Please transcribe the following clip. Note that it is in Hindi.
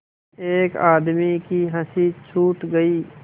एक आदमी की हँसी छूट गई